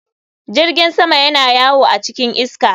Jirgin sama yana yawo a cikin iska.